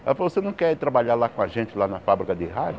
Ela falou, você não quer trabalhar lá com a gente, lá na fábrica de rádio?